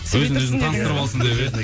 өзін өзі таныстырып алсын деп иә